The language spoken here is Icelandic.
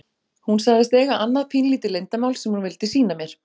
Hún sagðist eiga annað pínulítið leyndarmál sem hún vildi sýna mér.